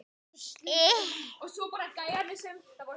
Leyfðu mér!